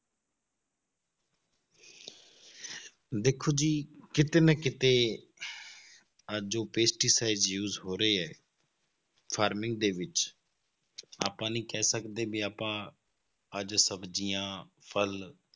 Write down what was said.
ਦੇਖੋ ਜੀ ਕਿਤੇ ਨਾ ਕਿਤੇ ਅੱਜ ਜੋ pesticides use ਹੋ ਰਹੇ ਆ farming ਦੇ ਵਿੱਚ ਆਪਾਂ ਨੀ ਕਹਿ ਸਕਦੇ ਵੀ ਆਪਾਂ ਅੱਜ ਸਬਜ਼ੀਆਂ, ਫਲ